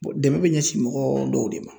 dɛmɛ bɛ ɲɛsin mɔgɔ dɔw de ma.